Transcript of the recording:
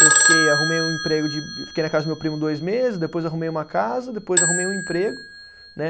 Eu fiquei, arrumei um emprego de, fiquei na casa do meu primo dois meses, depois arrumei uma casa, depois arrumei um emprego né.